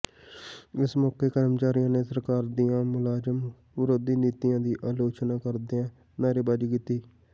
ਇਸ ਮੌਕੇ ਕਰਮਚਾਰੀਆਂ ਨੇ ਸਰਕਾਰ ਦੀਆਂ ਮੁਲਾਜ਼ਮ ਵਿਰੋਧੀ ਨੀਤੀਆਂ ਦੀ ਆਲੋਚਨਾ ਕਰਦਿਆਂ ਨਾਅਰੇਬਾਜ਼ੀ ਕੀਤੀ